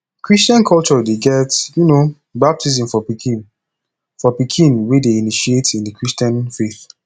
christain culture de get um baptism for pikin for pikin wey de initiate in the christian faith